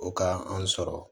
O ka an sɔrɔ